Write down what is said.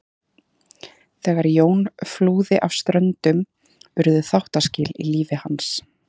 Þegar Jón flúði af Ströndum urðu þáttaskil í lífi hans.